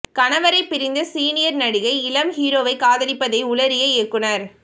கணவரை பிரிந்த சீனியர் நடிகை இளம் ஹீரோவை காதலிப்பதை உளறிய இயக்குனர்